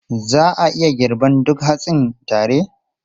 Za a iya girban duk hatsin tare?